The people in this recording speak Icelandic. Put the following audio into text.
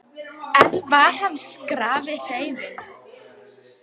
Kristján Már: En var hann skrafhreifinn?